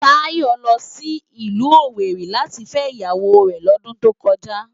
Tayo lò si ilù Owéri láti fè iyáwó rè lòdùn tókòjá